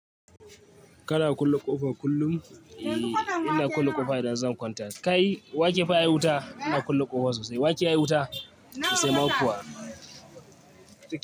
Kana kulle ƙofa kullum, eh ina kulle ƙofa idan zan kwanta. Kai wa ke fa yayi wuta ina kulle ƙofa sosai? Wa ke ma yayi wuta sosai?